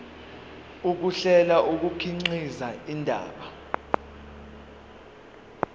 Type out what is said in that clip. ukuhlela kukhiqiza indaba